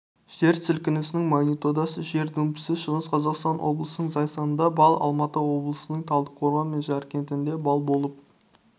жер сілкінісініңмагнитудасы жер дүмпуі шығыс қазақстан облысының зайсанында балл алматы облысының талдықорған мен жәркентінде балл болып